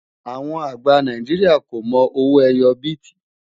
àwọn àgbà Nàìjíríà kò mọ owó ẹyọ biti